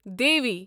Devi